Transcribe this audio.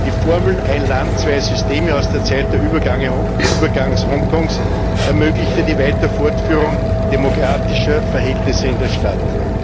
Die Formel Ein Land zwei Systeme aus der Zeit des Übergangs Hongkongs ermöglichte die weitere Fortführung demokratischer Verhältnisse in der Stadt.